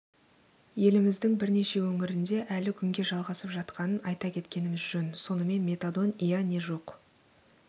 еліміздің бірнеше өңірінде әлі күнге жалғасып жатқанын айта кеткеніміз жөн сонымен метадон ия не жоқ